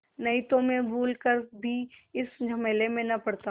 नहीं तो मैं भूल कर भी इस झमेले में न पड़ता